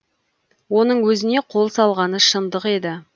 оның өзіне қол салғаны шындық еді